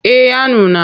Eh ya nuna.